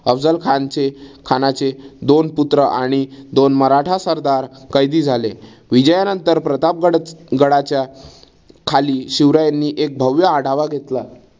अफझल खानचे खानाचे दोन पुत्र आणि दोन मराठा सरदार कैदी झाले. विजयानंतर प्रतापगड गडाच्या खाली शिवरायांनी एक भव्य आढावा घेतला.